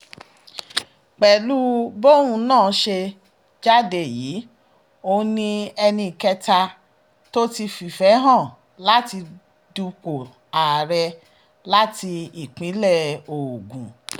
pẹ̀lú bóun náà ṣe jáde yìí òun ni ẹnì kẹta tó ti fìfẹ́ hàn láti dúpọ̀ ààrẹ láti ìpínlẹ̀ ogun